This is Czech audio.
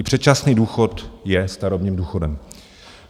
I předčasný důchod je starobním důchodem.